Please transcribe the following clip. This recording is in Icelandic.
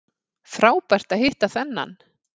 Frábært að hitta þennan